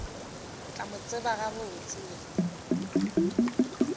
tla mo tseba gabotse we